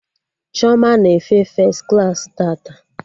Chioma na-efe fes klaasị tata